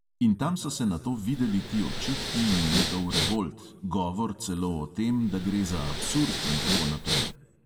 In tam so se nato videli ti očitki in njegov revolt, govor celo o tem, da gre za absurd in tako naprej.